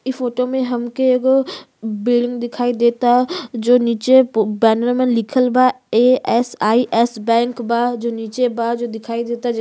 इ फोटो में हमके एगो बिल्डिंग दिखाई देता जो नीचे प बैनर में लिखल बा A S I S bank बा जो नीचे बा जो दिखाई देता। ज --